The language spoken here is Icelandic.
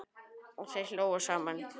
Og þeir hlógu saman.